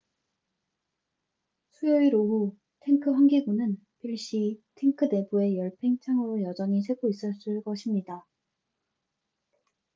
수요일 오후 탱크 환기구는 필시 탱크 내부의 열팽창으로 여전히 새고 있었을 것입니다